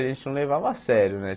A gente não levava a sério, né?